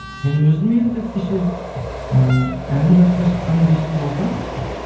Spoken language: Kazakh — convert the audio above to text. мен өзім енді кеше і әнім жарыққа шыққанына бес жыл болса